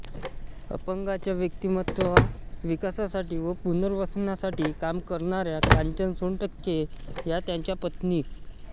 अपंगांच्या व्यक्तिमत्त्वविकासासाठी व पुनर्वसनासाठी काम करणाऱ्या कांचन सोनटक्के या त्यांच्या पत्नी